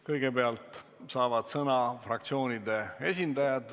Kõigepealt saavad sõna fraktsioonide esindajad.